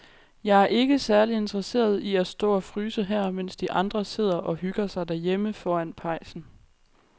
Jeg er ikke særlig interesseret i at stå og fryse her, mens de andre sidder og hygger sig derhjemme foran pejsen.